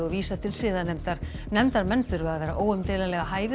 og vísa til siðanefndar nefndarmenn þurfa að vera óumdeilanlega hæfir